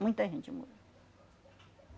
Muita gente morreu.